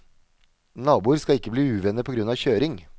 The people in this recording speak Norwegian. Naboer skal ikke bli uvenner på grunn av kjøring.